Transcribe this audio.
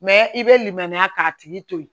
Mɛ i bɛ limaniya k'a tigi to ye